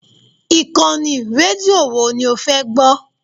Ìkànnì rédíò wo ni o fẹ́ gbọ́?